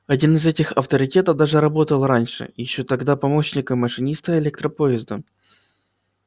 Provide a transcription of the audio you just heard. один из этих авторитетов даже работал раньше ещё тогда помощником машиниста электропоезда